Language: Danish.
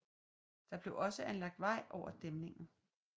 Der blev også anlagt vej over dæmningen